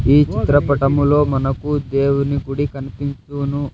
ఈ చిత్రపటములో మనకు దేవుని గుడి కనిపిస్తూను--